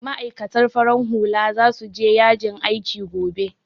Ma'aikatan farin hula za su je yajin aiki gobe